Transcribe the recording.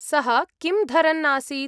सः किं धरन् आसीत्?